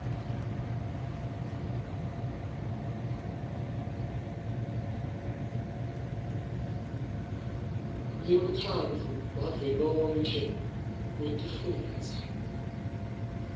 lemkhandlu wavelonkhe wetifundza